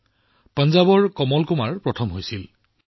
ইয়াত পঞ্জাৱৰ কমল কুমাৰ বিজয়ী হৈছিল